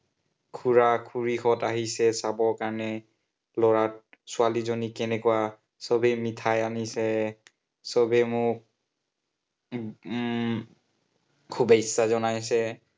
খুড়া-খুড়ীহত আহিছে চাবৰ কাৰনে। লৰাক, ছোৱালীজনী কেনেকুৱা। সৱেই মিঠাই আনিছে সৱেই মোক উম শুভেচ্ছা জনাইছে।